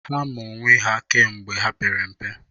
Ha maa onwe ha kemgbe ha pere mpe.